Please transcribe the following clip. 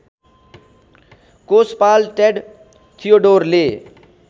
कोषपाल Ted थियोडोरले